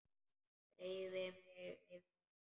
Beygði mig yfir hana.